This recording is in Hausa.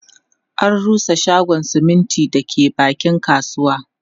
An rusa shagon siminti da ke bakin kasuwa